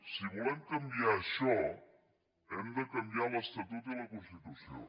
si volem canviar això hem de canviar l’estatut i la constitució